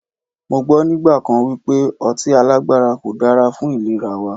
Mọ gbọ́ nígbà kan wípé ọtí alágbára kò dára fún ìlera wa.